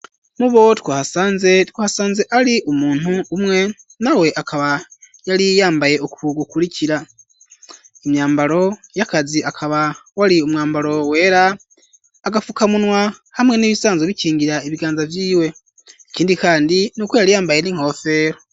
Mu bo two ahasanze two hasanze ari umuntu umwe na we akaba yariyambaye ukugukurikira imyambaro y'akazi akaba woari umwambaro wera agapfukamunwa hamwe n'ibisanzwe bikingira ibiganza vyiwe ikindi, kandi n'uko yariyambaye n'inkofero.